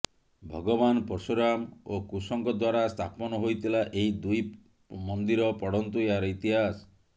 ଭଗବାନ ପର୍ଶୁରାମ ଓ କୁଶଙ୍କ ଦ୍ୱାରା ସ୍ଥାପନ ହୋଇଥିଲା ଏହି ଦୁଇ ମନ୍ଦିର ପଢନ୍ତୁ ଏହାର ଇତିହାସ